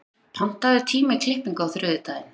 Randíður, pantaðu tíma í klippingu á þriðjudaginn.